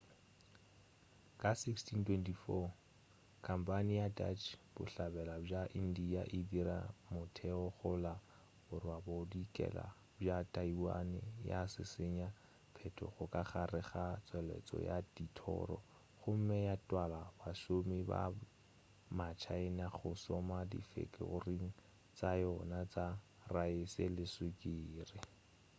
ka 1624,khampane ya dutch bohlabela bja india e dirile motheo go la borwabodikela bja taiwan ya šišinya phetogo ka gare ga tšweletšo ya dithoro gomme ya twala bašomi ba ma china go šoma difekoring tša yona tša raese le sukiri